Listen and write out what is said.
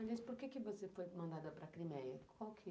Aliás, por que você foi mandada para a Crimeia?